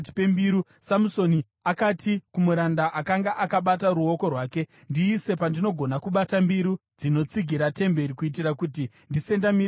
Samusoni akati kumuranda akanga akabata ruoko rwake, “Ndiise pandinogona kubata mbiru dzinotsigira temberi, kuitira kuti ndisendamire padziri.”